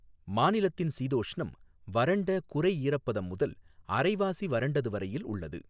மாநிலத்தின் சீதோஷ்ணம் வறண்ட குறை ஈரப்பதம் முதல் அரைவாசி வறண்டது வரையில் உள்ளது.